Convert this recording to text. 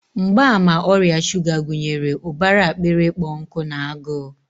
Mgbaàmà ọrịa shuga gụnyere ụbara akpịrị ịkpọ nkụ na agụụ.